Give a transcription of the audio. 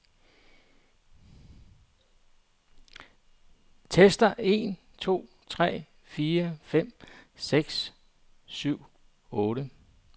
Tester en to tre fire fem seks syv otte.